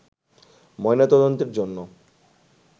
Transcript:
ময়না তদন্তের জন্য